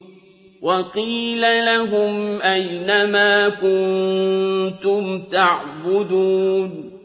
وَقِيلَ لَهُمْ أَيْنَ مَا كُنتُمْ تَعْبُدُونَ